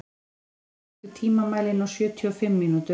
Gestur, stilltu tímamælinn á sjötíu og fimm mínútur.